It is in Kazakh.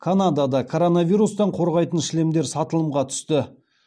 канадада коронавирустан қорғайтын шлемдер сатылымға түсті